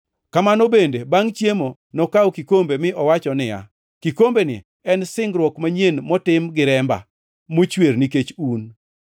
Kamano bende, bangʼ chiemo nokawo kikombe mi owacho niya, “Kikombeni en singruok manyien motim gi remba, mochwer nikech un.